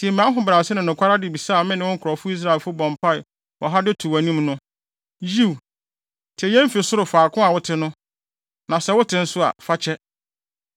Tie mʼahobrɛase ne nokware adebisa a me ne wo nkurɔfo Israelfo bɔ mpae wɔ ha de to wʼanim no. Yiw, tie yɛn fi ɔsoro faako a wote no; na sɛ wote nso a, fa kyɛ.